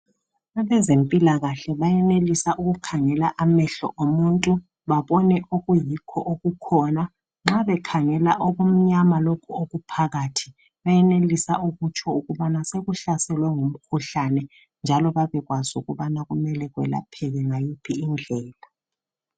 Abezempilakahle bayenelisa ukukhangela amehlo omuntu babone okuyikho okukhona. Nxa bekhangela okumyama lokhu okuphakathi bayenelisa ukutsho ukubana sekuhlaselwe ngumkhuhlane njalo babekwazi ukubana kumele kwelapheke ngayiphi indlela.